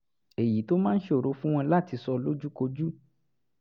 èyí tó máa ń ṣòro fún wọn láti sọ lójúkojú